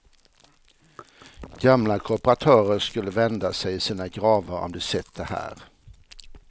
Gamla kooperatörer skulle vända sig i sina gravar om de sett det här.